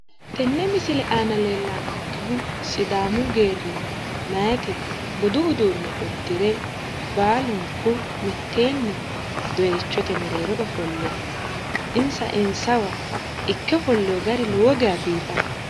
tenne misile aana leellannonkehu sidaamu geerrinna meyaati budu uduunne uddire baalunku mitteenni doyiichote mereero ofolle no insa insawa ikke ofollewo gari lowo geeya biifanno